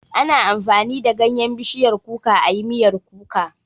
Ana amfani da ganyan bishiyar kuka ayi miyar kuka